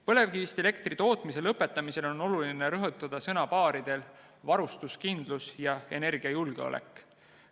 Põlevkivist elektri tootmise lõpetamisel on oluline rõhutada sõnu "varustuskindlus" ja "energiajulgeolek".